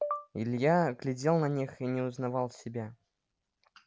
илья глядел на них и не узнавал себя